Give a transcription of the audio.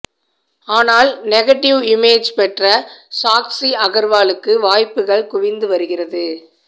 ஆனால் negative image பெற்ற சாக்சி அகர்வாலுக்கு வாய்ப்புகள் குவிந்து வருகிறது